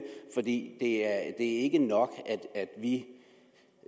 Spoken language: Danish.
for det er ikke nok